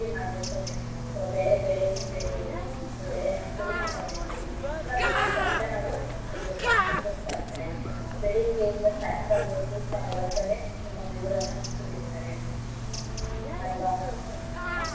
ಕೃಷಿ ಮಾಡ್ಬೇಕಂದ್ರೆ ಬೆಳೆ ಬೆಳೆಯೋದರಿಂದ ಇರ್ಬೋದು ಅಥವಾ ಬೆಳೆನ ಕೊಯ್ಲ್ ಮಾಡೋದಿರ್ಬೋದು ಸಾಕಷ್ಟು ಕಷ್ಟನ ಅವರು ಅನ್ಬೋಸತ~ ಅನ್ಬೋಸತಿರ್ತಾರೆ. ಬೆಳ್ಳಿಗೆ ಇಂದ ಸಾಯಂಕಾಲದವರಗು ತಮ್ಮ ಹೊಲದಲ್ಲೇ ತಮ್ಮ ಬೆವರನ್ನ ಸುರಿಸ್ತಾರೆ ಅಲ್ವಾ.